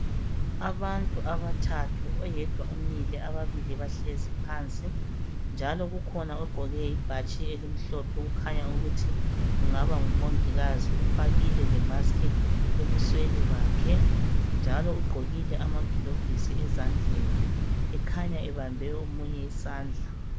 Abantu abathathu, oyedwa umile Ababili bahlezi phansi, njalo kukhona. ogqoke. ibhatshi elimhlophe. Kukhanya ukuthi kungaba ngumongikazi, ufakile lemask ebusweni bakhe, njalo ugqokile amagilovisi ezandleni, ekhanya ebambe omunye isandla.